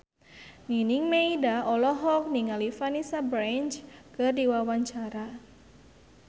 Nining Meida olohok ningali Vanessa Branch keur diwawancara